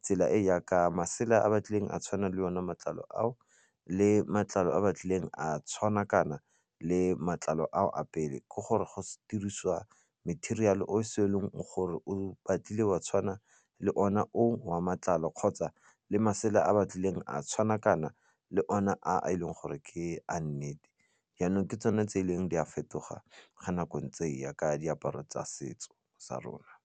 tsela e yaka masela a ba tlileng a tshwanang le one matlalo ao le matlalo a ba tlileng a tshwana kana le matlalo ao a pele ke gore go dirisiwa material-ale o se e leng gore o batlile wa tshwana le ona o wa matlalo kgotsa le masela a ba tlileng a tshwana kana le ona a e leng gore ke a nnete jaanong ke tsone tse di ileng di a fetoga ga nako ntse e ya ka diaparo tsa setso sa rona.